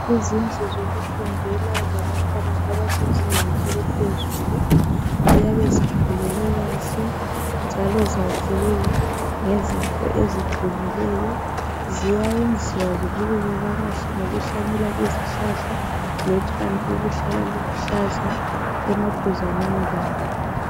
Izindlu zokufundela zabantwana abase zingeni eliphezulu .Ziyabe zifulelwe kahle njalo zakhiwe ngezinto eziqinileyo .Ziyayenziwa zibukeke kakahle ngokuhlanyela izihlahla lotshani obuhlala buluhlaza emaduzaneni lazo .